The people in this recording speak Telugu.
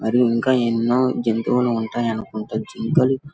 మరి ఇంకా ఎన్నో జంతువులు ఉంటాయనుకుంటా జింకలు --